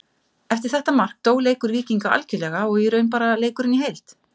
Eftir þetta mark dó leikur Víkinga algjörlega og í raun bara leikurinn í heild.